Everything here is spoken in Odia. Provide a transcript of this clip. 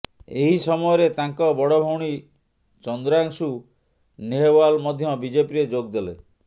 ଏହି ସମୟରେ ତାଙ୍କ ବଡ ଭଉଣୀ ଚନ୍ଦ୍ରାଂଶୁ ନେହୱାଲ୍ ମଧ୍ୟ ବିଜେପିରେ ଯୋଗ ଦେଲେ